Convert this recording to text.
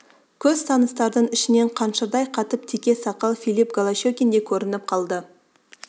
көз таныстардың ішінен қаншырдай қатып теке сақал филипп голощекин де көрініп қалды